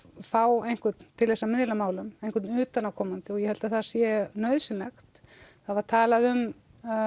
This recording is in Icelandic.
fá einhvern til þess að miðla málum einhvern utanaðkomandi og ég held það sé nauðsynlegt það var talað um